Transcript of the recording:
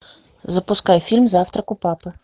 запускай фильм завтрак у папы